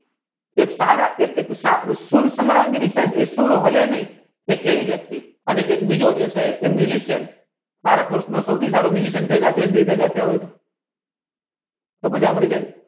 એક સારા સુર સામ્રગી સુર હાલે ને એક એવી વ્યકિતી અને એક બીજો તો માજા પડી જય